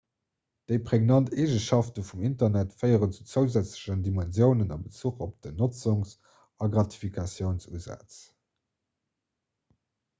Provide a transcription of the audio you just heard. déi pregnant eegenschafte vum internet féieren zu zousätzlechen dimensiounen a bezuch op den notzungs a gratifikatiounsusaz